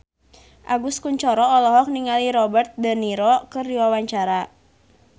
Agus Kuncoro olohok ningali Robert de Niro keur diwawancara